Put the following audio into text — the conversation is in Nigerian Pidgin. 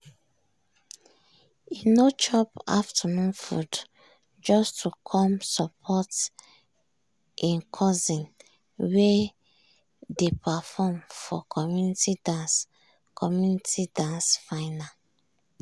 e no chop afternoon food just to come support e cousin wey dey perform for community dance community dance final.